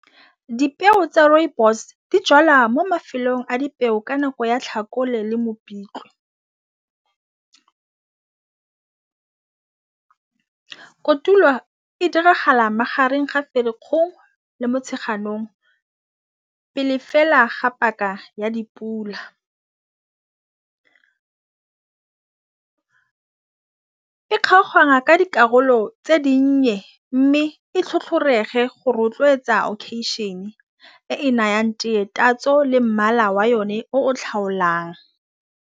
Dipeo tsa rooibos di jalwa mo mafelong a dipeo ka nako ya tlhakole le mopitlwe kotulo e diragala magareng ga fa lekgong le motšheganong pele fela ga paka ya dipula. E kgaoganngwa ka dikarolo tse dinnye mme e tlhotlhorege le go rotloetsa e nayang teye tatso le mmala wa yone.